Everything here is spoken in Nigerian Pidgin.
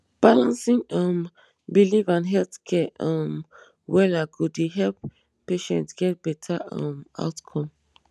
balancing um belief and health care um wella go dey help patient get better um outcome